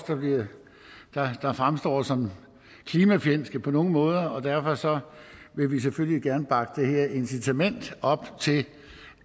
der fremstår som klimafjendske på nogen måder og derfor vil vi selvfølgelig gerne bakke det her incitament til